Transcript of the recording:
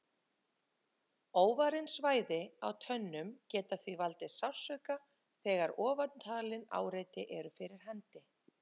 Óvarin svæði á tönnum geta því valdið sársauka þegar ofantalin áreiti eru fyrir hendi.